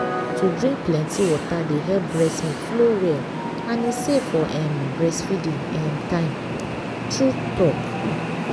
to drink plenty water dey help breast milk flow well and e safe for um breastfeeding um time. true um talk.